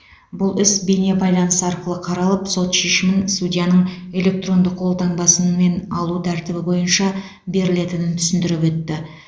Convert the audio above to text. бұл іс бейне байланыс арқылы қаралып сот шешімін судьяның электронды қол таңбасымен алу тәртібі бойынша берілетінін түсіндіріп өтті